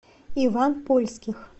иван польских